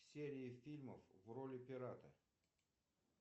серии фильмов в роли пирата